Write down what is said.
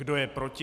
Kdo je proti?